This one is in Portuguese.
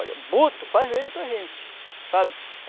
Olha, Buto faz medo para a gente, sabe?